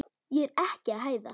Ég er ekki að hæðast.